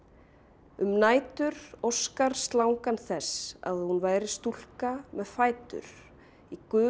um nætur óskar slangan þess að hún væri stúlka með fætur í gulum